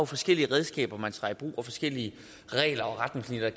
forskellige redskaber man tager i brug og forskellige regler og retningslinjer